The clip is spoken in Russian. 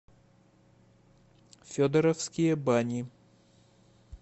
федоровские бани